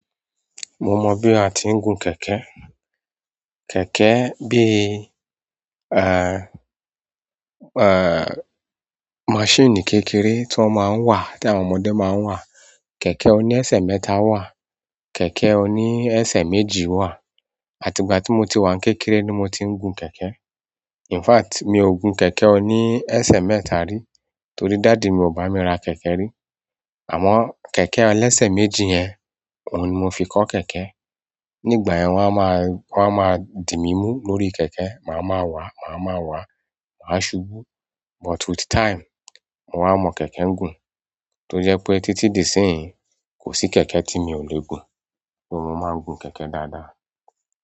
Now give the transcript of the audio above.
Mo mọ bí a ti ń gun kẹ̀kẹ́. Kẹ̀kẹ́ bí, machine kékeré tí wọ́n máa ń wà, tí àwọn ọmọdé máa ń wà. Kẹ̀kẹ́ oni ẹsẹ̀ mẹ́ta wà, kẹ̀kẹ́ oni ẹsẹ̀ méjì wà. Àti ìgbà tí mo ti wà kékeré ni mo ti ń gun kẹ̀kẹ́. In fact, mi ò gun kẹ̀kẹ́ oni ẹsẹ̀ mẹ́ta rí, torí daddy mi ò bá mi ra kẹ̀kẹ́ rí. Àmọ́ kẹ̀kẹ́ ẹlẹ́sẹ̀ méjì yẹn, òun ni mo fi kọ́ kẹ̀kẹ́. Nígbà yẹn wọ́n a máa dì mí mú lórí kẹ̀kẹ́, màá máa wà, màá máa wà, màá ṣubú. But with time, mo wa mọ kẹ̀kẹ́ gùn. Tó jẹ́ pé títí di isínyí, kò sí kẹ̀kẹ́ tí mi ò le gun, so, máa gun kẹ̀kẹ́ dáadáa.